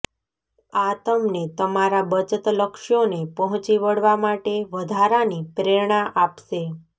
આ તમને તમારા બચત લક્ષ્યોને પહોંચી વળવા માટે વધારાની પ્રેરણા આપશે